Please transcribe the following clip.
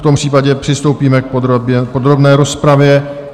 V tom případě přistoupíme k podrobné rozpravě.